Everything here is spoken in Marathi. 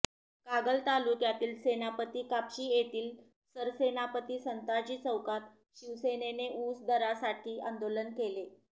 कागल तालुक्यातील सेनापती कापशी येथील सरसेनापती संताजी चौकात शिवसेनेने ऊस दरासाठी आंदोलन केले